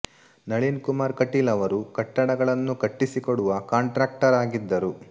ನಳೀನ್ ಕುಮಾರ್ ಕಟೀಲ್ ಅವರು ಕಟ್ಟಡಗಳನ್ನು ಕಟ್ಟಿಸಿಕೋಡುವ ಕಾಂಟ್ರಕ್ಟರ್ ಆಗಿದ್ದರು